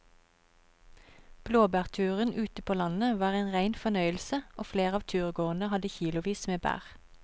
Blåbærturen ute på landet var en rein fornøyelse og flere av turgåerene hadde kilosvis med bær.